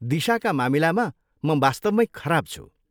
दिशाका मामिलामा म वास्तवमै खराब छु।